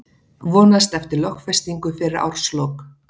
Vonast eftir lögfestingu fyrir árslok